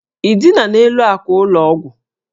Ị dina n'elu àkwà ụlọ ọgwụ?